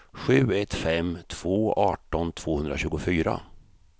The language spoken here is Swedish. sju ett fem två arton tvåhundratjugofyra